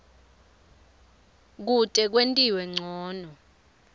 kute kwentiwe ncono